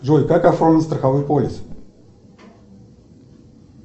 джой как оформить страховой полис